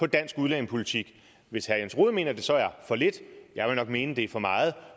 dansk udlændingepolitik hvis herre jens rohde mener at det så er for lidt jeg vil nok mene det er for meget